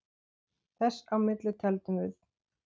Þess á milli tefldum við.